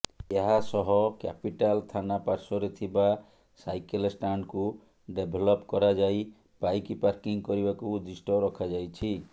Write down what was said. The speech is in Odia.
ଏହାସହ କ୍ୟାପିଟାଲ ଥାନା ପାଶ୍ବରେ ଥିବା ସାଇକେଲ ଷ୍ଟାଣ୍ଡକୁ ଡେଭେଲପ କରାଯାଇ ବାଇକ ପାର୍କିଂ କରିବାକୁ ଉଦ୍ଦିଷ୍ଟ ରଖାଯାଇଛି